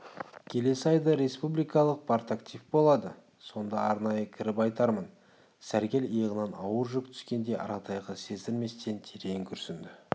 келесі айда республикалық партактив болады сонда арнайы кіріп айтармын сәргел иығынан ауыр жүк түскендей аратайға сездірместен терең күрсінді